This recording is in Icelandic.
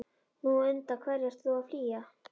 Nú, undan hverju ertu þá að flýja?